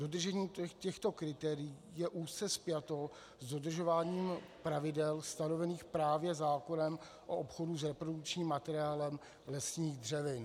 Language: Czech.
Dodržení těchto kritérií je úzce spjato s dodržováním pravidel stanovených právě zákonem o obchodu s reprodukčním materiálem lesních dřevin.